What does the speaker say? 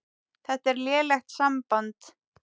Þetta er lélegt samband